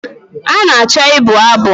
A na-achọ ịbụ abụ